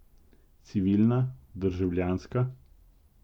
Civilna, državljanska?